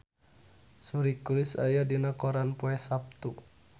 Suri Cruise aya dina koran poe Saptu